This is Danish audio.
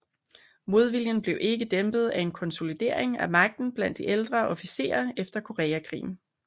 Modviljen blev ikke dæmpet af en konsolidering af magten blandt de ældre officerer efter Koreakrigen